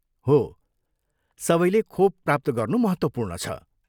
हो, सबैले खोप प्राप्त गर्नु महत्त्वपूर्ण छ।